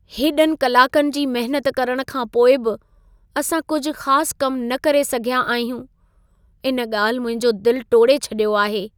हेॾनि कलाकनि जी महिनत करण खां पोइ बि असां कुझु ख़ास कमु न करे सघियां आहियूं। इन ॻाल्हि मुंहिंजो दिल टोड़े छॾियो आहे।